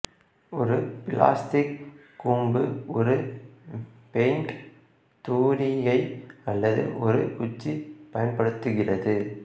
ஒரு பிளாஸ்டிக் கூம்பு ஒரு பெயின்ட் தூரிகை அல்லது ஒரு குச்சி பயன்படுத்துகிறது